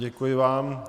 Děkuji vám.